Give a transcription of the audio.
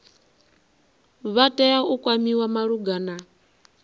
vha tea u kwamiwa malugana